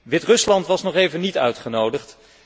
Wit Rusland was nog even niet uitgenodigd.